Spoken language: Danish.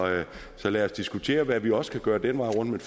så lad os diskutere hvad vi også kan gøre den vej rundt